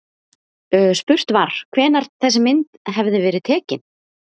Spurt var, hvenær þessi mynd hefði verið tekin?